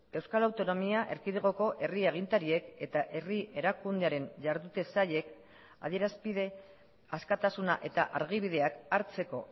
euskal autonomia erkidegoko herri agintariek eta herri erakundearen jardute sailek adierazpide askatasuna eta argibideak hartzeko